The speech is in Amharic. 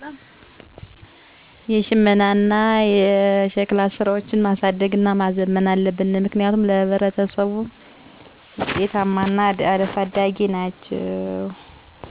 በሀገራችን ውስጥ ዘመናዊ ቴክኖሎጅዎች በየጊዜው እያደረጉ እና እየተስፋፉ መምጣት እንዲሁም የተለያዩ የዕደ ጥበብ ሥራዎች ተሻሽለው ወደሀገራችን እየገቡ በመሆኑ ባህላዊ አሰራር የሆኑ እንደ ሽመና እና ሸክላ ስራዎች ፈፅሞ ባይጠፋም በየአካቢያችን መቀነስን ያሳያል። እንዲሁም ባህለዊ የሆኑ የሳር ቤት አሰራር በፍጥነት እየቀነሱ እና እየጠፋ ሲሆን ባህላዊ በበሬ የአስተራረስ ዘዴ ወደ ዘመናዊ ቀስ በቀስ እየተቀየረ ይገኛል። ባህላዊ ህክምናዎችም በዘመናዊ ህክምና በመታገዝ በየቦታዉ በመስፋፋት ላይ ይገኛሉ።